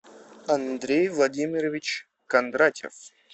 андрей владимирович кондратьев